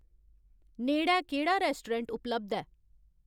नेड़ै केह्ड़ा रैस्टोरैंट उपलब्ध ऐ